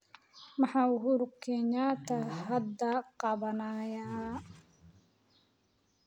Maxaa uhuru kenyatta hadda qabanayaa?